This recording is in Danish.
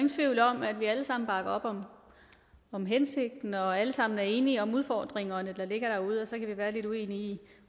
tvivl om at vi alle sammen bakker op om hensigten og alle sammen er enige om de udfordringer der ligger derude og så kan vi være lidt uenige